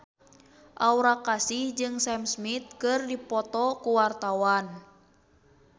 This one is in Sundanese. Aura Kasih jeung Sam Smith keur dipoto ku wartawan